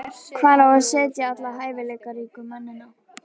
Hvar á að setja alla hæfileikaríku leikmennina?